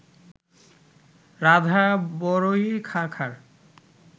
রাধা বড়য়ি খাঁখার